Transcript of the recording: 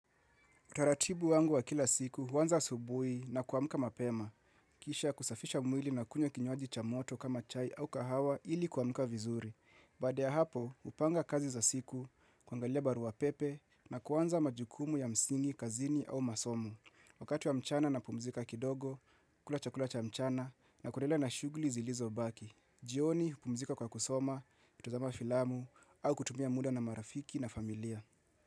Taratibu wangu wa kila siku huanza asubuhi na kuamuka mapema. Kisha kusafisha mwili na kunywa kinywaji cha moto kama chai au kahawa ili kuamka vizuri. Baada hapo, hupanga kazi za siku, kuangalia barua pepe na kuanza majukumu ya msingi, kazini au masomo. Wakati wa mchana napumzika kidogo, kula chakula cha mchana na kuendelea na shughuli zilizobaki. Jioni, pumzika kwa kusoma, kutazama filamu au kutumia muda na marafiki na familia.